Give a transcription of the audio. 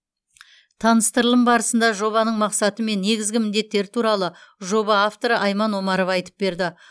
таныстырылым барысында жобаның мақсаты мен негізгі міндеттері туралы жоба авторы айман омарова айтып берді